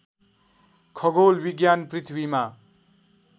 खगोल विज्ञान पृथ्वीमा